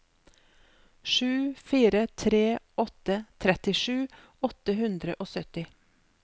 sju fire tre åtte trettisju åtte hundre og sytti